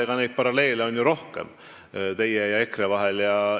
Eks neid paralleele teie ja EKRE vahel on ju rohkemgi.